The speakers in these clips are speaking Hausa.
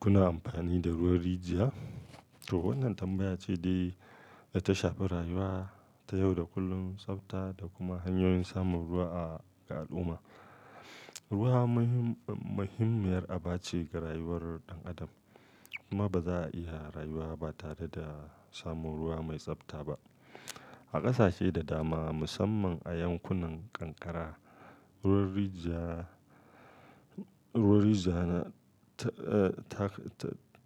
Kuna amfani da ruwan rijiya? To wannan tambaya ce dai ta shafi rayuwa ta yau da kullum, tsafta da kuma hanyoyin samun ruwa ga al'umma. Ruwa muhimmiyar aba ce ga rayuwar ɗan adam kuma ba za a iya rayuwa ba tare da samun ruwa mai tsafta ba. A ƙasashe da dama, musamman a yankunan ƙanƙara, ruwan rijiya, ruwan rijiya na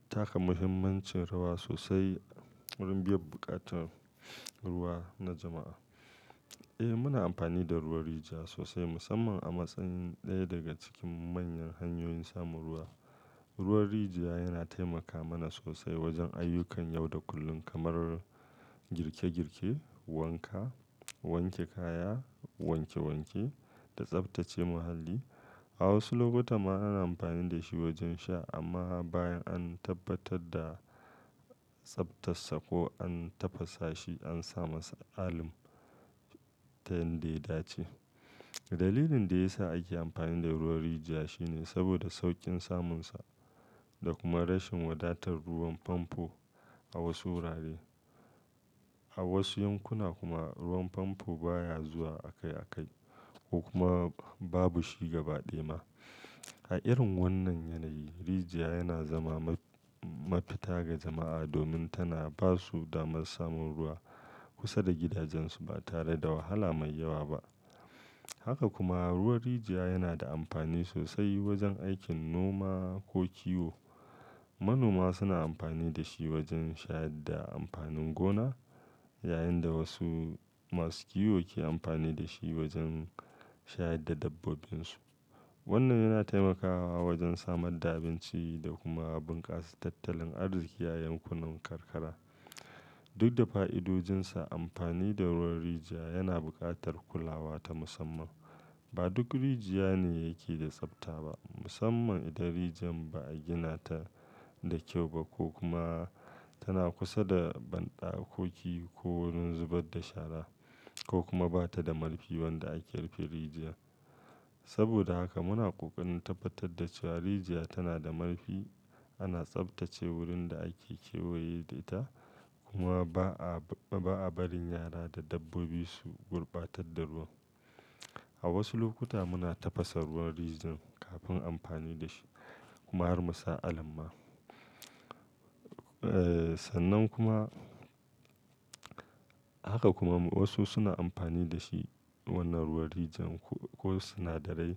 taka muhimmancin rawa sosai wurin biyan buƙatar ruwa na jama'a. Eh muna amfani da ruwan rijiya sosai musamman a matsayin ɗaya daga cikin manyan hanyoyin samun ruwa. Ruwan rijiya yana taimaka mana sosai wajen ayyukan yau da kullum kamar girke-girke, wanka, wanke kaya, wanke-wanke da tsaftace muhalli. A wasu lokuta ma ana amfani da shi wajen sha amma bayan an tabbatar da tsaftarsa ko an tafasa shi, an sa masa alum ta yadda ya dace. Dalilin da ya sa ake amfani da ruwan rijiya shine saboda sauƙin samunsa da kuma rashin wadatar ruwan famfo a wasu wurare. A wasu yankuna kuma ruwan famfo baya zuwa akai-akai ko kuma babu shi gaba ɗaya ma. A irin wannan yanayi, rijiya yana zama mafita ga jama'a domin tana ba su damar samun ruwa kusa da gidajensu ba tare da wahala mai yawa ba. Haka kuma ruwan rijiya yana da amfani sosai wajen aikin noma ko kiwo. Manoma suna amfani da shi wajen shayar da amfanin gona yayin da wasu masu kiwo ke amfani da shi wajen shayar da dabbobin su. Wannan yana taimakawa wajen samar da abinci da kuma bunkasa tattalin arziki a yankunan karkara. Duk da fa'idodinsa, amfani da ruwan rijiya yana buƙatar kulawa ta musamman. Ba duk rijiya ne yake da tsafta ba, musamman idan rijin ba a gina ta da kyau ba ko kuma tana kusa da bandakoki ko wurin zubar da shara ko kuma ba ta da marfin wanda ake rufe rijiyar. Saboda haka muna ƙoƙarin tabbatar da cewa rijiya tana da marfi, ana tsaftace wurin da ake kewaye da ita kuma ba a barin yara da dabbobi su gurbatar da ruwa. A wasu lokuta muna tafasa ruwan rijiyan kafin amfani da shi kuma har mu sa alum ma. Sannan kuma, haka kuma wasu suna amfani da shi wannan ruwan rijin ko sinadarai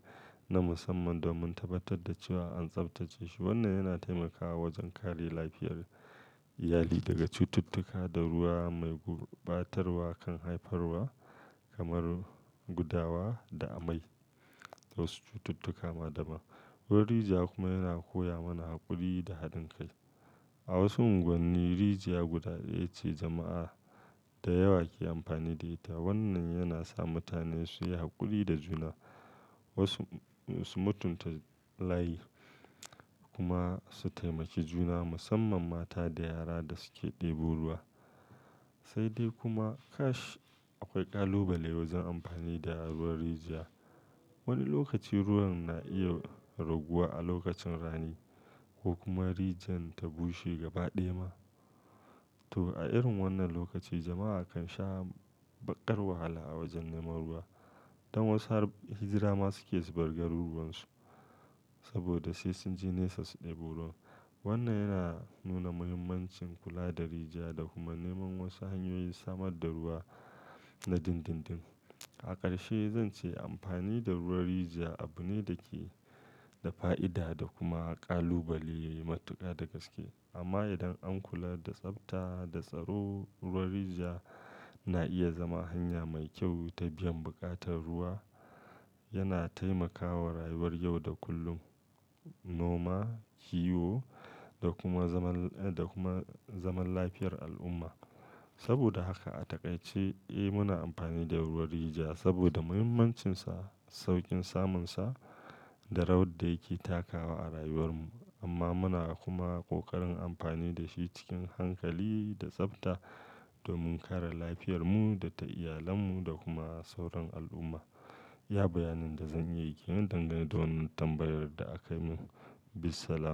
na musamman domin tabbatar da cewa an tsaftace shi. Wannan yana taimakawa wajen kare lafiyar iyali daga cututtuka da ruwa mai gurɓatarwa kan haifarwa kamar gudawa da amai da wasu cututtuka ma dama. Ruwan rijiya kuma yana koya mana haƙuri da haɗin kai. A wasu unguwanni rijiya guda ɗaya ce jama'a da yawa ke amfani da ita. Wannan yana sa mutane su yi haƙuri da juna, wasu su mutunta layi kuma su taimaki juna musamman mata da yara da suke ɗebo ruwa. Sai dai kuma kash akwai ƙalubalai wajen amfani da ruwan rijiya. Wani lokaci ruwan na iya raguwa a lokacin rani ko kuma rijin ta bushe gaba ɗaya ma. To a irin wannan lokaci jama'a kan sha baƙar wahala a wajen neman ruwa. Dan wasu har hijira ma suke zubar garuruwan su saboda sai sun je nesa su ɗebo ruwa. Wannan yana nuna muhimmancin kula da rijiya da kuma neman wasu hanyoyin samar da ruwa na dindindin. A ƙarshe zan ce amfani da ruwan rijiya abu ne da ke da fa'ida da kuma kalubale matuƙa da gaske. Amma idan an kula da tsafta da tsaro, ruwan rijiya na iya zama hanya mai kyau ta biyan buƙatar ruwa. Yana taimakawa rayuwar yau da kullum, noma, kiwo da kuma zaman, da kuma zaman lafiyar al'umma. Saboda haka a takaice eh muna amfani da ruwan rijiya saboda muhimmancinsa, sauƙin samunsa da rawar da yake takawa a rayuwar mu. Amma muna kuma ƙoƙarin amfani da shi cikin hankali da tsafta domin kare lafiyarmu da ta iyalanmu da kuma sauran al'umma. Iya bayanin da zan iya yi kenan dangane da wannan tambayar da akai min. Bismillah.